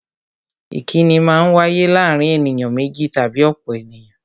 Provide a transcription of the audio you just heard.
Ìkínni Maa ń wáyé láàárín ènìyàn méjì tàbí ọ̀pọ̀ ènìyàn